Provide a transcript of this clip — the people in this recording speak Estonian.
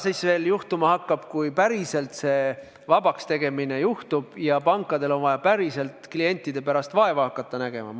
Mis siis veel juhtuma hakkab, kui see vabakstegemine päriselt juhtub ja pankadel on vaja klientide pärast vaeva hakata nägema?